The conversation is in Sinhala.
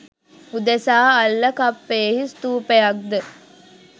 උදෙසා අල්ලකප්පයෙහි ස්ථූපයක් ද